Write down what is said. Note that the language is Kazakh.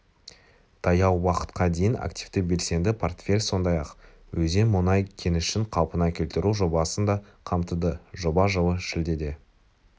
таяу уақытқа дейін активті белсенді портфель сондай-ақ өзен мұнай кенішін қалпына келтіру жобасын да қамтыды жоба жылы шілдеде